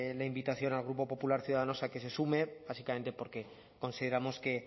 la invitación al grupo popular ciudadanos a que se sume básicamente porque consideramos que